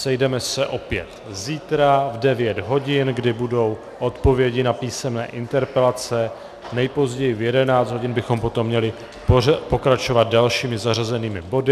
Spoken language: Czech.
Sejdeme se opět zítra v 9 hodin, kdy budou odpovědi na písemné interpelace, nejpozději v 11 hodin bychom potom měli pokračovat dalšími zařazenými body.